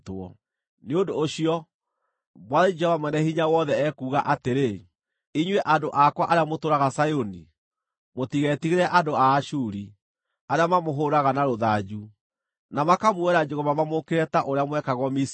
Nĩ ũndũ ũcio, Mwathani, Jehova Mwene-Hinya-Wothe, ekuuga atĩrĩ: “Inyuĩ andũ akwa arĩa mũtũũraga Zayuni, mũtigetigĩre andũ a Ashuri, arĩa mamũhũũraga na rũthanju, na makamuoera njũgũma mamũũkĩrĩre ta ũrĩa mwekagwo Misiri.